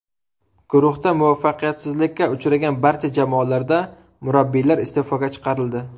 Guruhda muvaffaqiyatsizlikka uchragan barcha jamoalarda murabbiylar iste’foga chiqarildi.